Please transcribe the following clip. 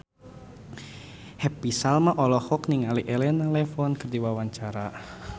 Happy Salma olohok ningali Elena Levon keur diwawancara